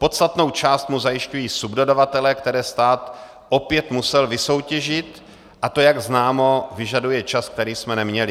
Podstatnou část mu zajišťují subdodavatelé, které stát opět musel vysoutěžit, a to, jak známo, vyžaduje čas, který jsme neměli.